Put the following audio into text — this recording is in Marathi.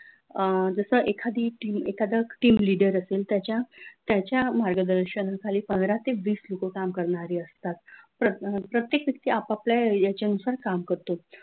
अह जस एखादी team एखाद team leader असेल त्याच्या त्याच्या मार्गदर्शनाखाली पंधरा ते वीस लोक काम करणारे असतात प्रत्येक व्यक्ती आपापल्या ह्याच्यानुसार काम करतो.